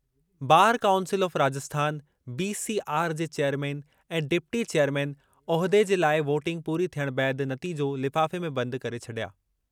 Bar council of Rajasthan (BCR) जे chairman ऐं deputy chairman उहिदे जे लाइ वोटिंग पूरी थियणु बैदि नतीजो लिफ़ाफ़े में बंदि करे छडि॒या।